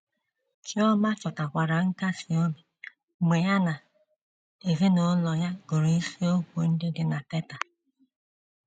Chioma chọtakwara nkasi obi mgbe ya na ezinụlọ ya gụrụ isiokwu ndị dị na Teta!